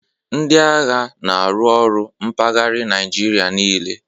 Ndị agha n'aru ọrụ mpaghari Naijiria niile